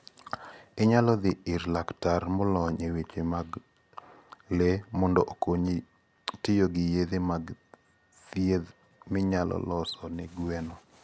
Inyalo dhi ir laktar molony e weche mag le mondo okonyi tiyo gi yedhe mag thieth minyalo los ne gweno.